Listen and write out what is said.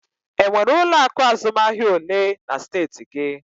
E nwere ụlọ akụ azụmahịa olee na steeti gị?